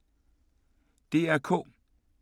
DR K